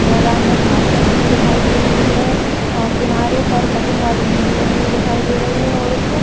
मैदान में घाँस लगी हुई दिखाई दे रही है अ किनारे पर कटिंग वाली मेहंदी लगी हुई देखे दे रही है और उस--